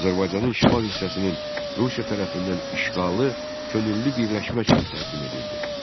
Azərbaycanın şimal hissəsinin Rusiya tərəfindən işğalı könüllü birləşmə kimi təqdim edildi.